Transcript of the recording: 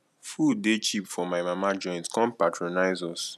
food dey cheap for my mama joint come patronize us